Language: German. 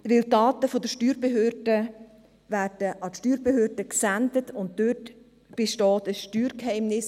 Die Daten der Banken werden an Steuerbehörden gesendet, und dort besteht ein Steuergeheimnis.